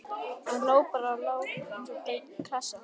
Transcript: Hann lá bara og lá eins og blaut klessa.